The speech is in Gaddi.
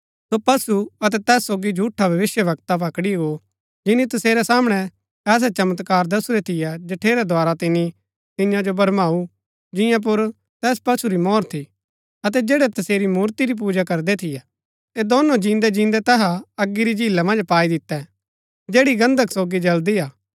सो पशु अतै तैस सोगी झूठा भविष्‍यवक्ता पकड़ी गो जिनी तसेरै सामणै ऐसै चमत्कार दसुरै थियै जठेरै द्धारा तिनी तियां जो भरमाऊ जिंआं पुर तैस पशु री मोहर थी अतै जैड़ै तसेरी मूर्ति री पूजा करदै थियै ऐह दोनों जिन्दै जिन्दै तैहा अगी री झीला मन्ज पाई दितै जैड़ी गन्धक सोगी जळदी हा